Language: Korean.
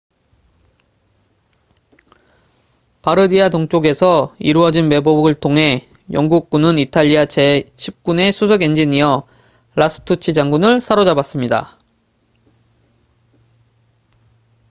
바르디아 동쪽에서 이루어진 매복을 통해 영국군은 이탈리아 제10군의 수석 엔지니어 라스투치 장군을 사로잡았습니다